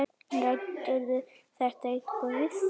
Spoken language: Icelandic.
Ræddirðu þetta eitthvað við þá?